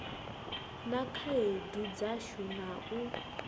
na khaedu dzashu na u